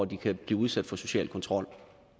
de kan blive udsat for social kontrol